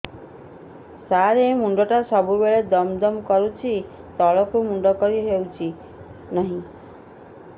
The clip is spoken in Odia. ସାର ମୁଣ୍ଡ ଟା ସବୁ ବେଳେ ଦମ ଦମ କରୁଛି ତଳକୁ ମୁଣ୍ଡ କରି ହେଉଛି ନାହିଁ